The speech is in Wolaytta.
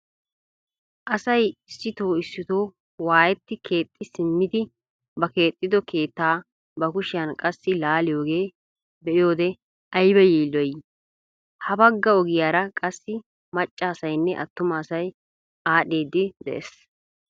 Asay issitoo issitoo waayetti keexxi simmidi ba keexxido keettaa ba kushiyaan qassi laaliyoogaa be'iyoode ayba yilloyii! ha bagga ogiyaara qassi macca asaynne attuma asay adhiidi de'ees.